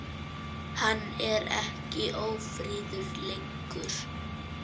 Hann er ekki ófríður lengur.